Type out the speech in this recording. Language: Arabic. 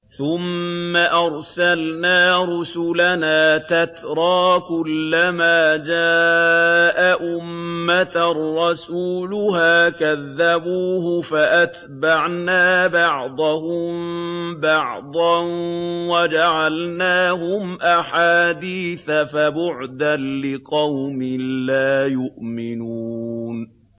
ثُمَّ أَرْسَلْنَا رُسُلَنَا تَتْرَىٰ ۖ كُلَّ مَا جَاءَ أُمَّةً رَّسُولُهَا كَذَّبُوهُ ۚ فَأَتْبَعْنَا بَعْضَهُم بَعْضًا وَجَعَلْنَاهُمْ أَحَادِيثَ ۚ فَبُعْدًا لِّقَوْمٍ لَّا يُؤْمِنُونَ